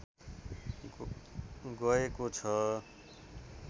गएको छ